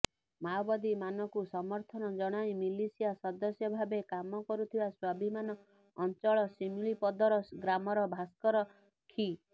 ମାଓବାଦୀ ମାନଙ୍କୁ ସମର୍ଥନ ଜଣାଇ ମିଲିସିଆ ସଦସ୍ୟ ଭାବେ କାମକରୁଥିବା ସ୍ୱାଭିମାନ ଅଚଂଳ ସେମିଳିପଦର ଗ୍ରାମର ଭାସ୍କର ଖି